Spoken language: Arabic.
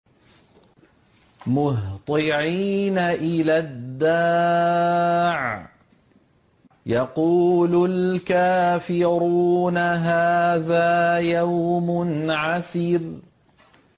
مُّهْطِعِينَ إِلَى الدَّاعِ ۖ يَقُولُ الْكَافِرُونَ هَٰذَا يَوْمٌ عَسِرٌ